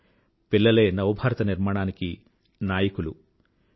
పిల్లలే నవభారత నిర్మాణానికి నాయకులు హీరోలు